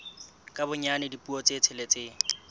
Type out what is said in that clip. ka bonyane dipuo tse tsheletseng